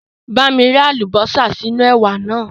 Bá mi rẹ́ àlùbásà sínú ẹ̀wà naa